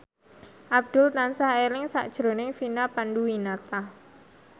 Abdul tansah eling sakjroning Vina Panduwinata